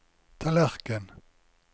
tallerken